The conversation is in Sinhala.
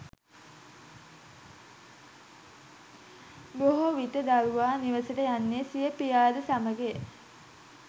බොහෝ විට දරුවා නිවසට යන්නේ සිය පියාද සමගය